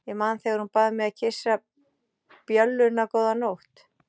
Ég man þegar hún bað mig að kyssa bjölluna góða nótt.